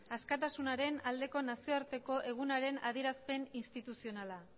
askatasunaren aldeko nazioarteko egunaren adierazpen instituzionala